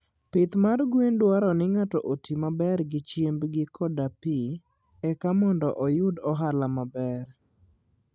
Pidh gwen dwaro ni ng'ato oti maber gi chiembgi koda pi, eka mondo oyud ohala maber.